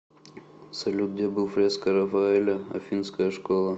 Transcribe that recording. салют где был фреска рафаэля афинская школа